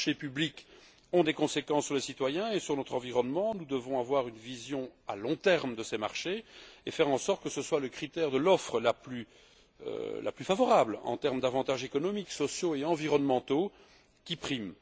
Les marchés publics ont des conséquences sur les citoyens et sur notre environnement. Nous devons avoir une vision à long terme de ces marchés et faire en sorte que ce soit le critère de l'offre la plus favorable en termes d'avantages économiques, sociaux et environnementaux qui prime.